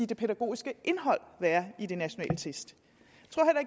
det pædagogiske indhold være i de nationale test